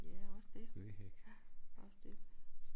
Ja også det ja også det